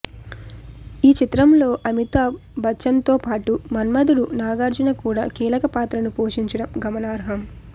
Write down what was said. ఈ చిత్రంలో అమితాబ్ బచ్చన్తోపాటు మన్మథుడు నాగార్జున కూడా కీలక పాత్రను పోషించడం గమనార్హం